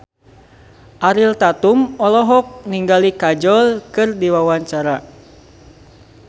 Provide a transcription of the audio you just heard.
Ariel Tatum olohok ningali Kajol keur diwawancara